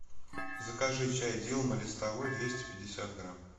закажи чай дилма листовой двести пятьдесят грамм